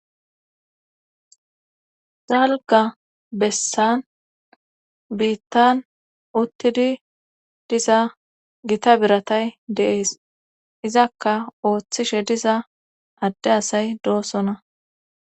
Dalga bessan biittan uttidi diza gita biratay de7ees izakka ooththishe diza adde asay doosona.